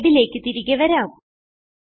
സ്ലൈഡിലേക്ക് തിരികെ വരാം